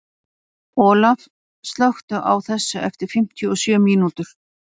Olaf, slökktu á þessu eftir fimmtíu og sjö mínútur.